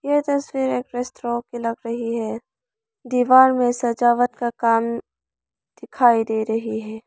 यह तस्वीर एक रेस्टोरेंट की लग रही है। दीवार में सजावट का काम दिखाई दे रही है।